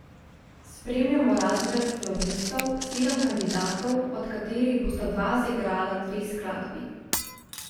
Spremljamo razred flavtistov, sedem kandidatov, od katerih bosta dva zaigrala dve skladbi.